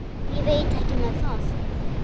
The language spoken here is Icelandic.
Ég veit ekki með það.